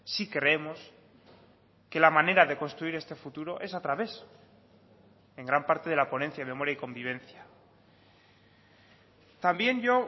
sí creemos que la manera de construir este futuro es a través en gran parte de la ponencia de memoria y convivencia también yo